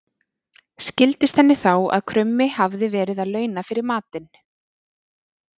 Skildist henni þá að krummi hafði verið að launa fyrir matinn.